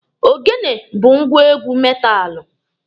Ogene bụ ngwá egwu metaalụ.